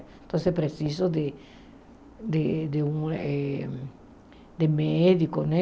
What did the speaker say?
Então, preciso de de de um eh de médico, né?